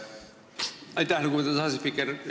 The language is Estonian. Aitäh, lugupeetud asespiiker!